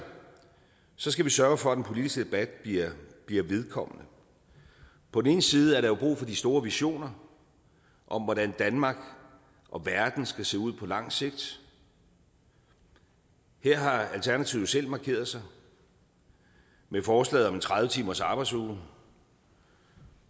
skal vi sørge for at den politiske debat bliver vedkommende på den ene side er der jo brug for de store visioner om hvordan danmark og verden skal se ud på lang sigt her har alternativet selv markeret sig med forslaget om en tredive timersarbejdsuge og